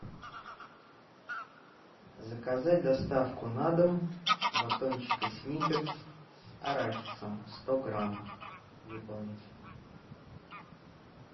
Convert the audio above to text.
заказать доставку на дом батончика сникерс с арахисом сто грамм выполнить